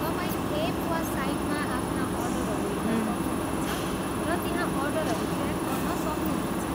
तपाईँ एप वा साइटमा आफ्ना अर्डरहरू हेर्न सक्नुहुनेछ र त्यहाँ अर्डरहरू ट्र्याक गर्न सक्नुहुनेछ।